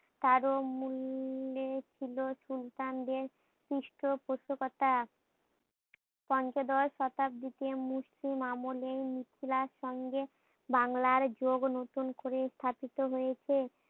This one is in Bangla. কারো মূল্যে লে ছিল সুলতানদের পৃষ্ঠপোষকতা। পঞ্চদশ শতাব্দীতে মুসলিম আমলেই মিথিলার সঙ্গে বাংলার যোগ নতুন করে স্থাপিত হয়েছে।